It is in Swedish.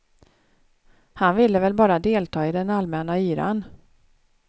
Han ville väl bara delta i den allmäna yran.